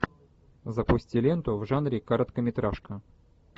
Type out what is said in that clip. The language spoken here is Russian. запусти ленту в жанре короткометражка